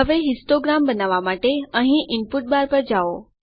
હવે હિસ્ટોગ્રામ બનાવવા માટે અહીં ઇનપુટ બાર પર જાઓ